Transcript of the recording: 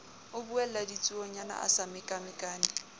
ubella ditsuonyana a sa mekamekane